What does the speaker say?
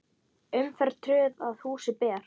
Umferð tröð að húsi ber.